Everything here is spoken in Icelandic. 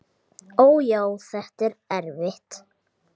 Ó, já, þetta er erfitt.